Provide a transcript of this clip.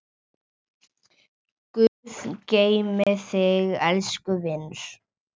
Guð geymi þig, elsku vinur.